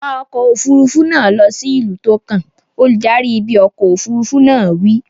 Wa ọkọ̀ òfuurufú náà lọ sí ìlú tó kàn! Olùdarí ibi ọkọ̀ òfuurufú náà wí.